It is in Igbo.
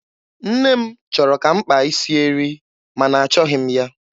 Nne m chọrọ ka m kpaa isi eri, ma na achọghị m ya.